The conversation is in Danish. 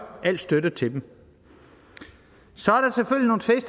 al støtte til dem så